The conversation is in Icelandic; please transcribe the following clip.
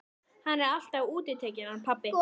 Hann er alltaf útitekinn hann pabbi.